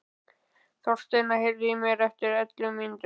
Þorsteina, heyrðu í mér eftir ellefu mínútur.